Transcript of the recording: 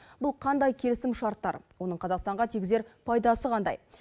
бұл қандай келісімшарттар оның қазақстанға тигізер пайдасы қандай